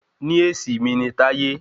Níèsì mi ni Taiwo